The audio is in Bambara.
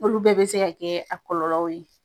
Olu bɛɛ be se ka kɛ a kɔlɔlɔw ye.